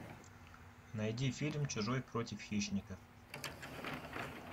найди фильм чужой против хищника